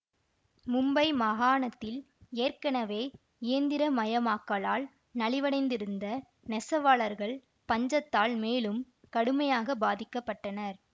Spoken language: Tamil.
மும்பை மாகாணத்தில் ஏற்கனவே இயந்திரமயமாக்கலால் நலிவடைந்திருந்த நெசவாளர்கள் பஞ்சத்தால் மேலும் கடுமையாக பாதிக்க பட்டனர்